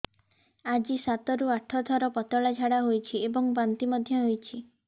ଆଜି ସାତରୁ ଆଠ ଥର ପତଳା ଝାଡ଼ା ହୋଇଛି ଏବଂ ବାନ୍ତି ମଧ୍ୟ ହେଇଛି